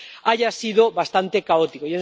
haya sido bastante caótico.